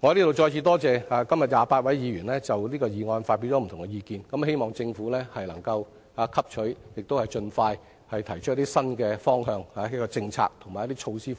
我在這裏再次感謝今天28位議員就這項議案發表不同的意見，希望政府能夠聽取及盡快提出新方向、政策及措施，